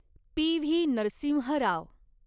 P V. Narasimha Rao